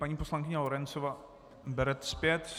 Paní poslankyně Lorencová - bere zpět.